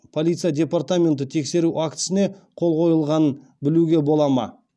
полиция департаменті тексеру актісіне қол қойылғанын білуге бола ма